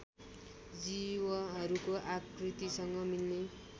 जीवहरूको आकृतिसँग मिल्ने